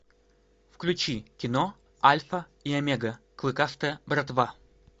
включи кино альфа и омега клыкастая братва